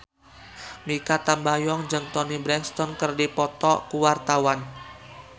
Mikha Tambayong jeung Toni Brexton keur dipoto ku wartawan